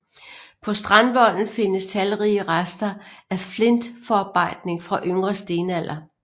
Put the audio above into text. På strandvolden findes talrige rester af flintforarbejdning fra Yngre stenalder